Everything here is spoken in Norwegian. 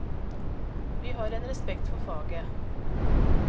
Vi har en respekt for faget.